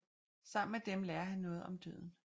Sammen med dem lærer han noget om døden